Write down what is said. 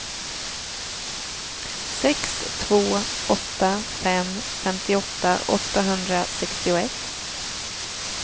sex två åtta fem femtioåtta åttahundrasextioett